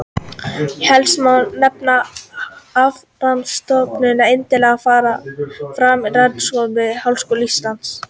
Helst má nefna Hafrannsóknastofnun en einnig fara fram rannsóknir við Háskóla Íslands.